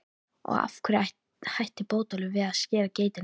Og af hverju hætti Bótólfur við að skera geitina?